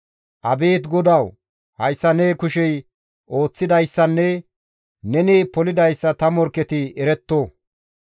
Abeet GODAWU! Hayssa ne kushey ooththidayssanne neni polidayssa ta morkketi eretto.